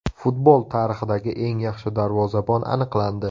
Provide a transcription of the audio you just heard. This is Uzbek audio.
Futbol tarixidagi eng yaxshi darvozabon aniqlandi.